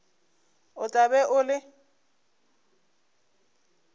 o tla be o le